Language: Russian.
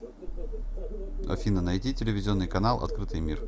афина найти телевизионный канал открытый мир